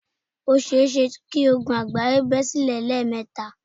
Ó seése kí ogun àgbáyé bẹ́ silẹ̀ lẹ́ẹ̀kẹta